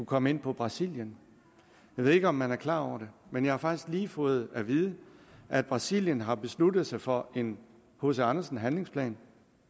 komme ind på brasilien jeg ved ikke om man er klar over det men jeg har faktisk lige fået at vide at brasilien har besluttet sig for en hc andersen handlingsplan